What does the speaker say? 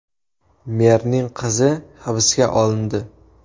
Merning qizi hibsga olindi.